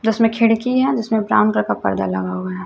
जिसमें खिड़की है जिसमें ब्राउन कलर का पर्दा लगा हुआ हैं।